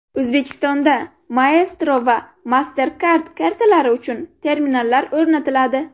O‘zbekistonda Maestro va MasterCard kartalari uchun terminallar o‘rnatiladi.